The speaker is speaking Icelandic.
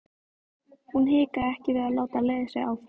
Hún hikaði ekki við að láta leiða sig áfram.